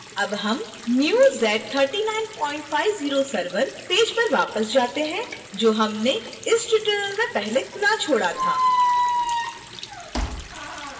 अब हम new z3950 server page पर वापस जाते हैं जो हमने इस tutorial में पहले खुला छोड़ा था